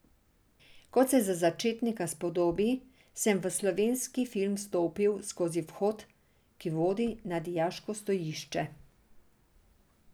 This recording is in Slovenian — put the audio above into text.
Kot se za začetnika spodobi, sem v slovenski film stopil skozi vhod, ki vodi na dijaško stojišče.